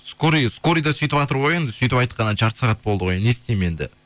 скорый да сөйтіватыр ғой енді сөйтіп айтқанына жарты сағат болды ғой енді не істеймін енді